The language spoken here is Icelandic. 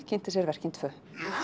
kynnti sér verkin tvö